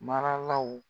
Maralaw